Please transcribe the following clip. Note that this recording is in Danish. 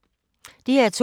DR2